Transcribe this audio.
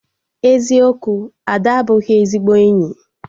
Eziokwu, Ada abụghị ezigbo enyi